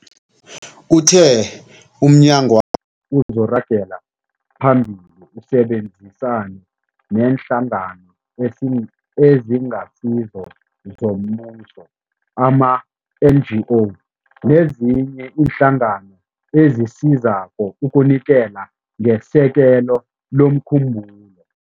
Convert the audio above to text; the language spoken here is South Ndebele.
Uthe umnyagwakhe uzokuragela phambili usebenzisane neeNhlangano eziNgasizo zoMbuso ama-NGO, nezinye iinhlangano ezisizako ukunikela ngesekelo lomkhumbulo.